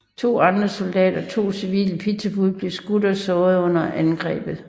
To andre soldater og to civile pizzabude blev også skudt og sårede under angrebet